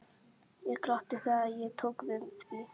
Ég glotti þegar ég tók við því.